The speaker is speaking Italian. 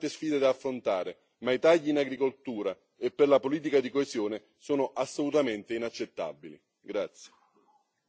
È vero, l'Europa ha tante sfide da affrontare, ma i tagli all'agricoltura e alla politica di coesione sono assolutamente inaccettabili.